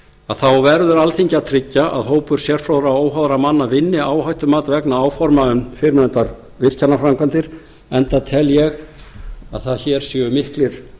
að þá verður alþingi að tryggja að hópur sérfróðra óháðra manna vinni áhættumat vegna áforma um fyrrnefndar virkjanaframkvæmdir enda tel ég að hér séu miklir